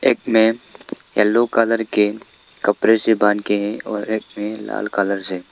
एक में yellow colour के कपड़े से बांध के हैं और एक में लाल कलर से।